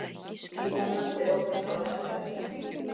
Í Hollandi er ógnin á næst hæsta stigi.